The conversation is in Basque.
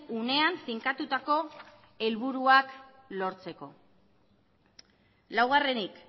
unean finkatutako helburuak lortzeko laugarrenik